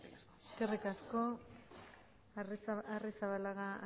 asko eskerrik asko arrizabalaga